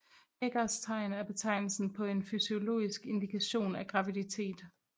Hegars tegn er betegnelsen på en fysiologisk indikation af graviditet